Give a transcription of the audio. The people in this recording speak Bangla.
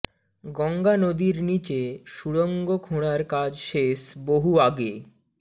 গঙ্গা নদীর নীচে সুড়ঙ্গ খোঁড়ার কাজ শেষ বহু আগে